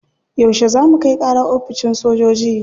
Yauce za mu kai kara oficin sojoji?